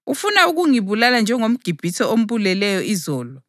Ufuna ukungibulala njengomGibhithe ombuleleyo izolo?’ + 7.28 U-Eksodasi 2.14